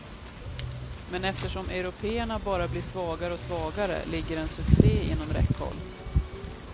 Men eftersom européerna bara blir svagare och svagare, ligger en succé inom räckhåll.